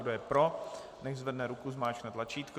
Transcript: Kdo je pro, nechť zvedne ruku, zmáčkne tlačítko.